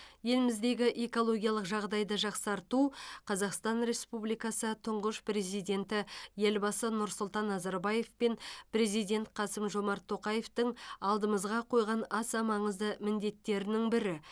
еліміздегі экологиялық жағдайды жақсарту қазақстан республикасы тұңғыш президенті елбасы нұрсұлтан назарбаев пен президент қасым жомарт тоқаевтың алдымызға қойған аса маңызды міндеттерінің бірі